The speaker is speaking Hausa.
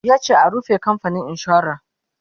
yace a "rufe kamfanin insuran!"